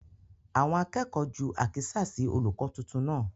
Àwọn akẹ́kọ̀ọ́ jù àkísà sí olùkọ tuntun naa.